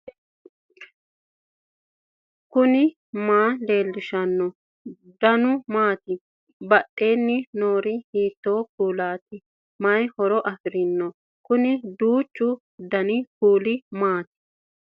knuni maa leellishanno ? danano maati ? badheenni noori hiitto kuulaati ? mayi horo afirino ? kuni duuchu dani kuuli maati